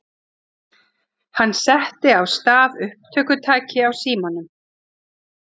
Hann setti á stað upptökutæki á símanum.